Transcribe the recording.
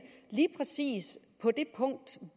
lige præcis på det punkt